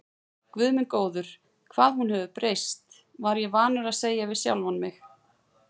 Guð minn góður, hvað hún hefur breyst, var ég vanur að segja við sjálfan mig.